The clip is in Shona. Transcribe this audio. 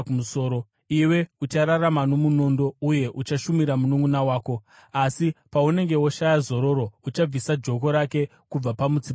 Iwe uchararama nomunondo uye uchashumira mununʼuna wako. Asi paunenge woshaya zororo uchabvisa joko rake kubva pamutsipa wako.”